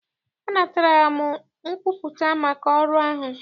Anatara m nkwupụta maka ọrụ ahụ.